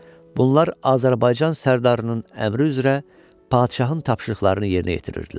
Bunlar Azərbaycan sərdarının əmri üzrə padşahın tapşırıqlarını yerinə yetirirdilər.